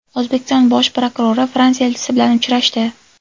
O‘zbekiston bosh prokurori Fransiya elchisi bilan uchrashdi.